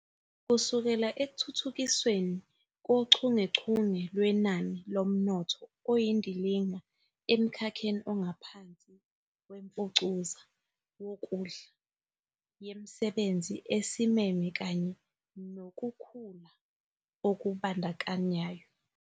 kusekela Ekuthuthukisweni Kochungechunge Lwenani Lomnotho Oyindilinga Emkhakheni Ongaphansi Wemfucuza Wokudla Yemisebenzi Esimeme kanye Nokukhula Okubandakanyayo